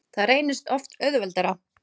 Það reynist oft auðveldara.